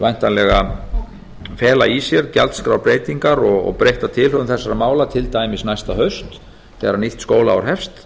væntanlega fela í sér gjaldskrárbreytingar og breytta tilhögun þessara mála til dæmis næsta haust þegar nýtt skólaár hefst